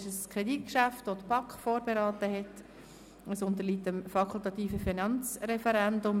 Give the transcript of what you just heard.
Es ist ein Kreditgeschäft, das die BaK vorberaten hat, und es unterliegt dem fakultativen Finanzreferendum.